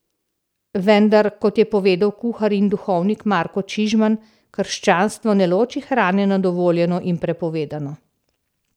Vendar, kot je povedal kuhar in duhovnik Marko Čižman, krščanstvo ne loči hrane na dovoljeno in prepovedano.